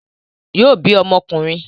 Yóò bí ọmọ ọkùnrin